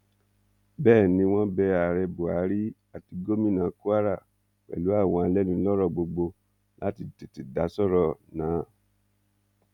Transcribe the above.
bẹẹ ni wọn bẹ ààrẹ buhari àti gomina kwara pẹlú àwọn alẹnulọrọ gbogbo láti tètè dá sọrọ náà